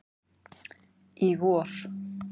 í vor.